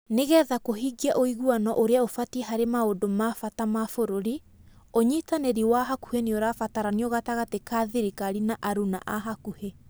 Nĩ getha kũhingia ũiguano ũrĩa ũbatie harĩ maũndũ ma bata ma bũrũri, ũnyitanĩri wa hakuhĩ nĩ ũrabataranio gatagatĩ ka thirikari na arũna a hakuhĩ.